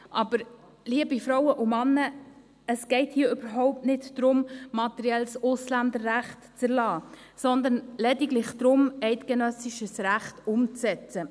Aber, liebe Frauen und Männer, es geht hier überhaupt nicht darum, materielles Ausländerrecht zu erlassen, sondern lediglich darum, eidgenössisches Recht umzusetzen.